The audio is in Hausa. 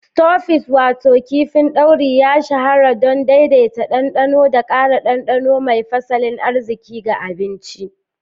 Stofis wato kifin dauri ya shahara don daidaita dandano da ƙara ɗanɗanon mai fasalin arziki ga abinci.